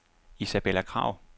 Isabella Kragh